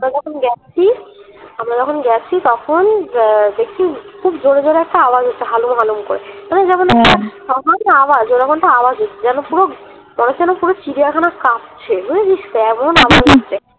আমরা যখন যাচ্ছি আমরা যখন যাচ্ছি তখন আহ দেখি খুব জোরে জোরে একটা আওয়াজ হচ্ছে হালুম হালুম করে তখন ভাবলাম আওয়াজ আওয়াজই যেন পুরো মনে হচ্ছে যেন পুরো চিড়িয়াখানা কাপছে বুঝেছিস তো এমন আওয়াজ হচ্ছে